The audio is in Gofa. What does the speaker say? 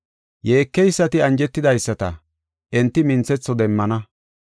Yeekeysati anjetidaysata, enti minthetho demmana.